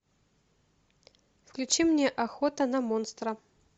включи мне охота на монстра